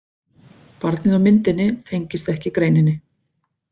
Barnið á myndinni tengist ekki greininni.